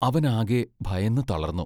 അവൻ ആകെ ഭയന്നു തളർന്നു.